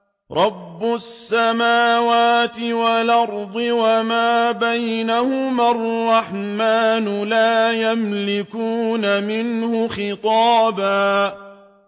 رَّبِّ السَّمَاوَاتِ وَالْأَرْضِ وَمَا بَيْنَهُمَا الرَّحْمَٰنِ ۖ لَا يَمْلِكُونَ مِنْهُ خِطَابًا